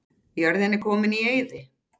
Jörðin er komin í eyði.